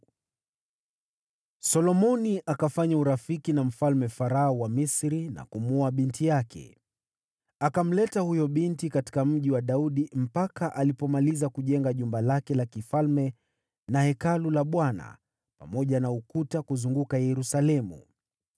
Solomoni akafanya urafiki na Mfalme Farao wa Misri na kumwoa binti yake. Akamleta huyo binti katika Mji wa Daudi mpaka alipomaliza kujenga jumba lake la kifalme na Hekalu la Bwana , pamoja na ukuta kuzunguka Yerusalemu.